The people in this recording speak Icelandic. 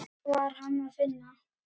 Hvar var Hann að finna?